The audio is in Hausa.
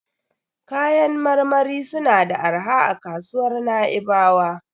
Kayan marmari suna da arha a kasuwar Na'ibawa.